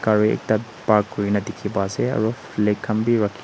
gari ekta park kuri na dikhi pai ase aro flag khan b rakhi--